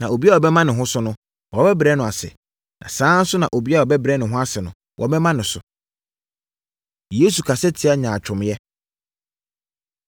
Na obiara a ɔbɛma ne ho so no, wɔbɛbrɛ no ase; saa ara nso na obiara a ɔbɛbrɛ ne ho ase no, wɔbɛma no so. Yesu Kasa Tia Nyaatwomyɛ